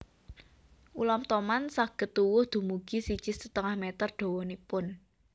Ulam toman saged tuwuh dumugi siji setengah meter dawanipun